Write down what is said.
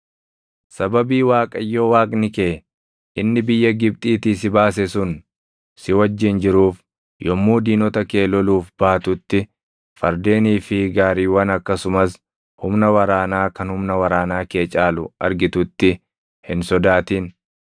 Sababii Waaqayyo Waaqni kee inni biyya Gibxiitii si baase sun si wajjin jiruuf yommuu diinota kee loluuf baatutti fardeenii fi gaariiwwan akkasumas humna waraanaa kan humna waraanaa kee caalu argitutti hin sodaatin.